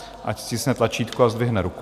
Ať stiskne tlačítko a zdvihne ruku.